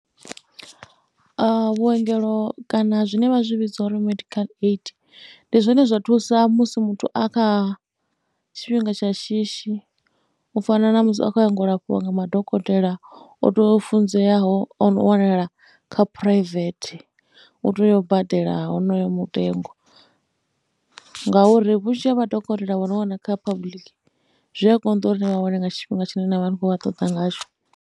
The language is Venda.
Vhuengelo kana zwine vha zwi vhidza uri medical aid, ndi zwone zwa thusa musi muthu a kha tshifhinga tsha shishi, u fana na musi a khou yanga lafhiwa nga madokotela o tou funzeaho o no wanala kha phuraivethe. U tea u badela honoyo mutengo ngauri vhunzhi ha madokotela o no wana kha public, zwi a konḓa uri ni vha wane nga tshifhinga tshine na vha ni khou vha ṱoḓa ngatsho.